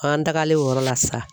An tagalen o yɔrɔ la sa